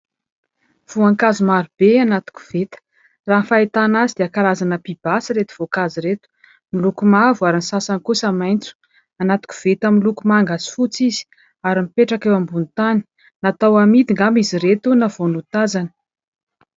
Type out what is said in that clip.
Voankazo maro be anaty koveta. Raha ny fahitana azy dia karazana pibasy ireto voankazo ireto, miloko mavo ary ny sasany kosa maitso, anaty koveta miloko manga sy fotsy izy ary mipetraka eo ambony tany. Natao amidy angamba izy ireto na vao notazana.